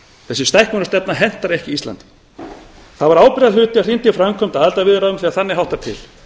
þessi stækkunarstefna hentar ekki íslandi það var ábyrgðarhluti að hrinda í framkvæmd aðildarviðræðum þegar þannig háttar til